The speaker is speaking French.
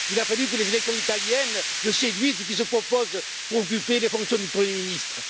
Il a fallu que les élections italiennes le séduisent et qu'il se propose pour occuper les fonctions de premier ministre.